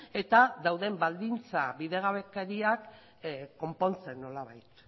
eta dauden baldintza bidegabekeriak konpontzen nolabait